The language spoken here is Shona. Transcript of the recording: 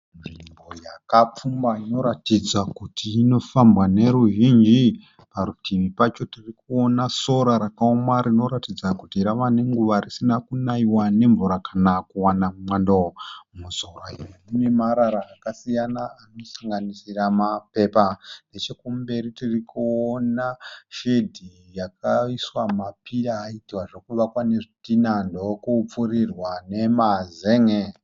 Nzvimbo yakapfumba inoratidza kuti inofambwa neruzhinji. Parutivi pacho tirikuona sora rakaoma rinoratidza kuti rava nenguva risina kunaiwa ne mvura kana kuwana mwando. Musora iri mune marara akasiyana ano sanganisira mapepa. Nechekumberi tirikuona shedhi yakaiswa ma pira akaita zvekuvakwa nezvidhina ndokupfurirwa nema zen'e.